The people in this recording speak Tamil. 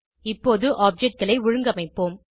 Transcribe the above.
இப்போது objectகளை ஒழுங்கமைப்போம்